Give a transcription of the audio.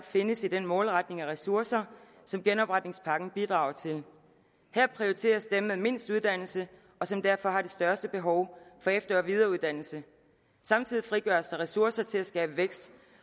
findes i den målretning af ressourcer som genopretningspakken bidrager til her prioriteres dem med mindst uddannelse og som derfor har det største behov for efter og videreuddannelse samtidig frigøres der ressourcer til at skabe vækst